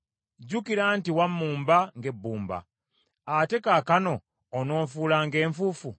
Jjukira nti wammumba ng’ebbumba, ate kaakano onoonfuula ng’enfuufu?